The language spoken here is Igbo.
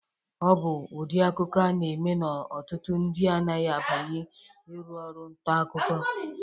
Ọ bụ ụdị akụkọ a na-eme n'ọtụtụ ndị anaghị abanye iru ọrụ ntakụkọ.